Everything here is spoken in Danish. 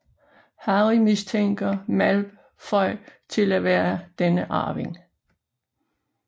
Harry mistænker Malfoy til at være denne arving